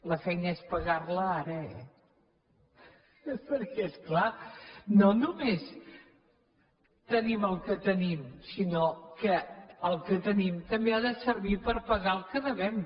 la feina és pagar la ara eh perquè és clar no només tenim el que tenim sinó que el que tenim també ha de servir per pagar el que devem